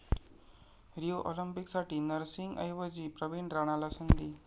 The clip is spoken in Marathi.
रिओ ऑलिम्पिकसाठी नरसिंग ऐवजी प्रवीण राणाला संधी